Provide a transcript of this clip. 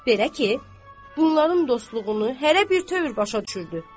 Belə ki, bunların dostluğunu hərə bir tövür başa düşürdü.